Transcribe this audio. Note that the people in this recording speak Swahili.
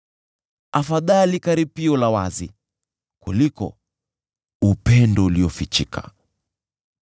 Afadhali karipio la wazi kuliko upendo uliofichika.